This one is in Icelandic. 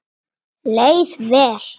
Leið vel.